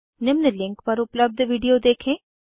निम्न लिंक पर उपलब्ध विडिओ देखें